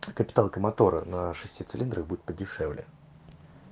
капиталка мотора на шести цилиндрах будет подешевле